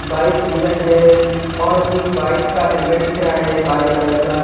bike Bullet है और अ बाइक का हैलमेट दिख रहा है काले कलर का--